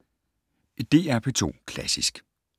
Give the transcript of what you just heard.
DR P2 Klassisk